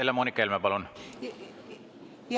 Helle-Moonika Helme, palun!